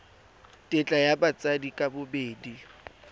tetla ya batsadi ka bobedi